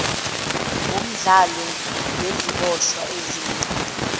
womdlalo ngeziboshwa ezeqe